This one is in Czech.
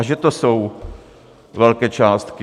A že to jsou velké částky!